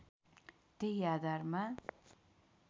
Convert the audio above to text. त्यही आधारमा